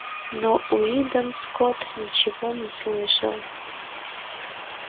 но уидон скотт ничего не слышал